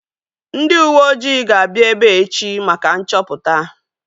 Ndị uweojii ga-abịa ebea echi maka nchọpụta